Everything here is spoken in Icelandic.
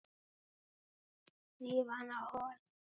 Ríf hana á hol.